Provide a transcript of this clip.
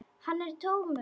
Hann er tómur.